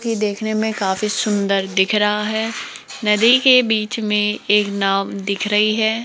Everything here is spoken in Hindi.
ये देखने में काफी सुंदर दिख रहा है नदी के बीच में एक नाव दिख रही है।